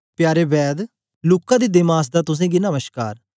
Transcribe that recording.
प्यारे वैघ किम्म लूका ते देमास दा तुसेंगी नमश्कार